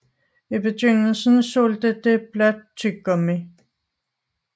I begyndelsen solgte det blot tyggegummi